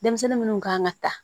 Denmisɛnnin munnu kan ka ta